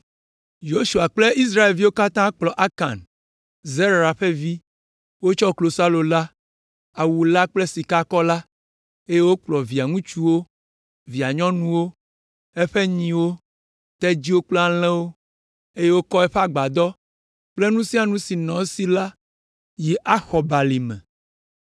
Yosua kple Israelviwo katã kplɔ Akan, Zera ƒe vi, wotsɔ klosalo la, awu la kple sikakɔ la, eye wokplɔ via ŋutsuwo, via nyɔnuwo, eƒe nyiwo, tedziwo kple alẽwo, eye wokɔ eƒe agbadɔ kple nu sia nu si nɔ esi la yi Axor balime.